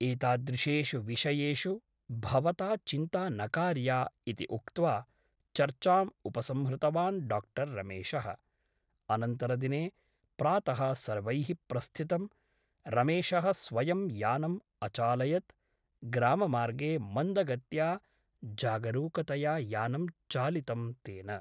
एतादृशेषु विषयेषु भवता चिन्ता न कार्या इति उक्त्वा चर्चाम् उपसंहृतवान् डा रमेशः । अनन्तरदिने प्रातः सर्वैः प्रस्थितम् । रमेशः स्वयं यानम् अचालयत् । ग्राममार्गे मन्दगत्या जागरूकतया यानं चालितं तेन ।